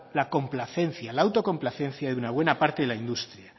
la complacencia la autocomplacencia de una buena parte de la industria